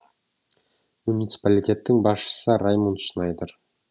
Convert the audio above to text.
муниципалитеттің басшысы раймунд шнайдер